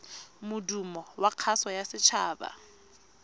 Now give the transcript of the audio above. modumo wa kgaso ya setshaba